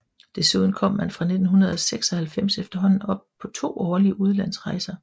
Desuden kom man fra 1996 efterhånden op på to årlige udlandsrejser